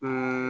Ɛɛ